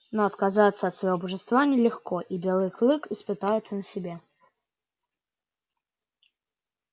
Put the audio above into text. но отказываться от своего божества нелегко и белый клык испытал это на себе